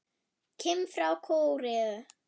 Kim frá Kóreu